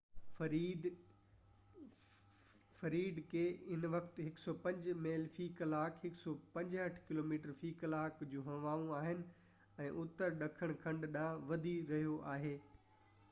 Fred کي هن وقت 105 ميل في ڪلاڪ 165 ڪلوميٽر في ڪلاڪ جون هوائون آهن ۽ اتر ڏکڻ ڪنڍ ڏانهن وڌي رهيو آهي